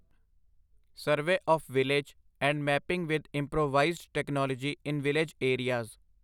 survey of village and mapping with improvised technology in village areas